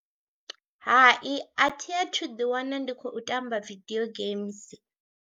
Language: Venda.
Hai athi athu ḓiwana ndi khou tamba video games.